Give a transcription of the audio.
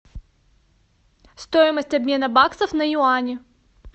стоимость обмена баксов на юани